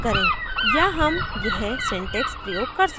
* या हम यह syntax प्रयोग कर सकते हैं